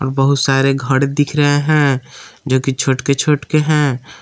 बहुत सारे घड़ दिख रहे हैं जो कि छोटके छोटके हैं।